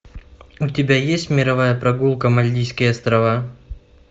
у тебя есть мировая прогулка мальдивские острова